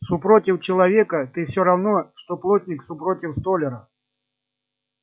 супротив человека ты всё равно что плотник супротив столяра